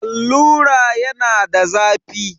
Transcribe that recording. Allura yana da zafi.